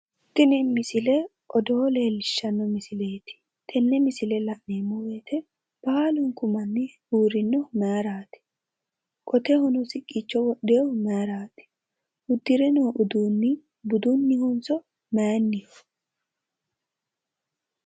Tini misile odoo leellishshanno misileeti. Tenne misile la'neemmo woyite baalunku manni uurrinnohu mayiraati? Qoteho siqqicho wodhiwohu mayiraati? Uddire noo uduunni budunnihonso mayinniho?